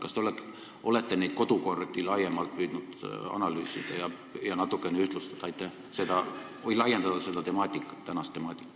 Kas te olete neid kodukordi püüdnud laiemalt analüüsida ja natukene laiendada seda tänast temaatikat?